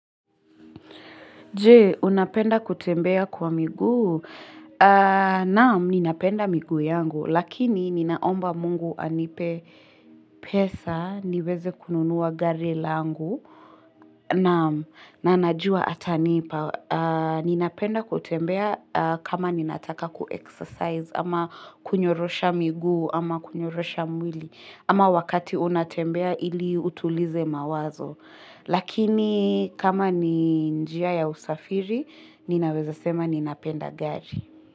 Je, unapenda kutembea kwa miguu? Naam, ninapenda miguu yangu. Lakini, ninaomba mungu anipe pesa. Niweze kununuwa gari langu. Naam, na najua atanipa. Ninapenda kutembea kama ninataka ku-exercise, ama kunyorosha miguu, ama kunyorosha mwili, ama wakati unatembea ili utulize mawazo. Lakini kama ni njia ya usafiri, ninaweza sema ninapenda gari.